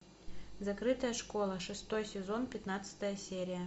закрытая школа шестой сезон пятнадцатая серия